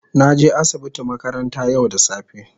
na je asibiti makaranta yau da safe.